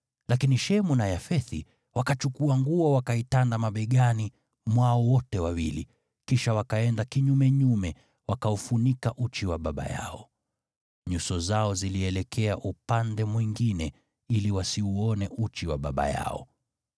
Lakini Shemu na Yafethi wakachukua nguo wakaitanda mabegani mwao wote wawili, kisha wakaenda kinyumenyume, wakaufunika uchi wa baba yao. Nyuso zao zilielekea upande mwingine ili wasiuone uchi wa baba yao.